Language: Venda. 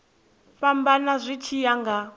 fhambana zwi tshi ya nga